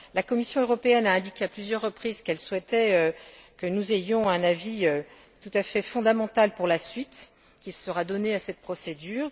La Commission européenne a indiqué à plusieurs reprises qu'elle souhaitait que nous ayons un avis tout à fait fondamental pour la suite qui sera donnée à cette procédure.